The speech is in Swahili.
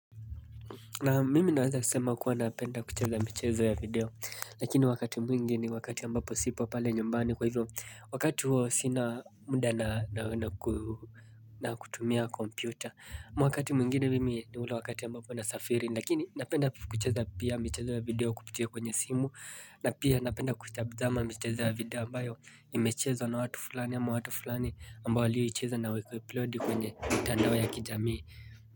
Na mimi naweza sema kuwa napenda kucheza michezo ya video Lakini wakati mwingi ni wakati ambapo sipo pale nyumbani kwa hivyo Wakati huo sina muda na kutumia kompyuta ama wakati mwingine mimi ni ule wakati ambapo nasafiri Lakini napenda kucheza pia michezo ya video kupitia kwenye simu na pia napenda kutazama michezo ya video ambayo imechezwa na watu fulani ama watu fulani ambao waliyoicheza na wakai upload kwenye mitandao ya kijamii.